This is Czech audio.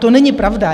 To není pravda.